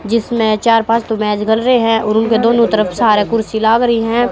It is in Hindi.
जिसमें चार पांच तो रहे हैं और उनके दोनों तरफ सारे कुर्सी लाग रही है।